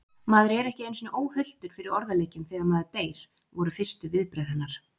Maður er ekki einu sinni óhultur fyrir orðaleikjum þegar maður deyr, voru fyrstu viðbrögð hennar.